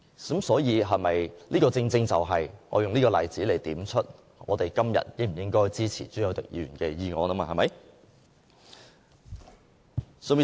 所以，我正正用這個例子來點出，我們今天應否支持朱凱廸議員的議案。